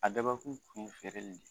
A dabɔ kun ye feereli de ye